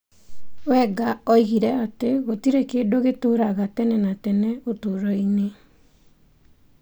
Wenger oigire atĩ gũtirĩ kĩndũ gĩtũũraga tene na tene ũtũũro-inĩ.